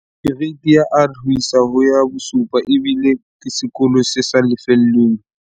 Kereiti ya R ho isa ho ya 7 ebile ke sekolo se sa lefellweng.